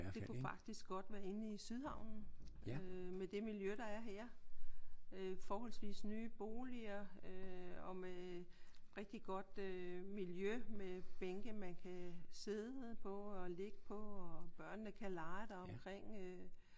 Det kunne faktisk godt være inde i Sydhavnen med det miljø der er her. Forholdsvist nye boliger øh og med rigtig godt miljø med bænke man kan sidde og på ligge på og børnene kan lege der omkring